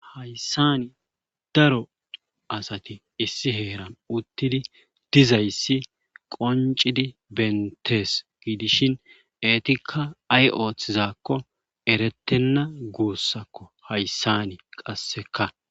hayssani daro asati issi heeran uttidi dizayssi qoncidi bentees giidishin eetikka ay ooththizakko erettenna guussakko hayssani qasseka